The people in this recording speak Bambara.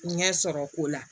Ɲɛ sɔrɔ ko la